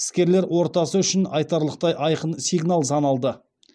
іскерлер ортасы үшін айтарлықтай айқын сигнал саналды